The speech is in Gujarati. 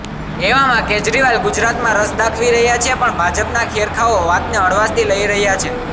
એવામાં કેજરીવાલ ગુજરાતમાં રસ દાખવી રહ્યા છે પણ ભાજપના ખેરખાંઓ વાતને હળવાશથી લઈ રહ્યા છે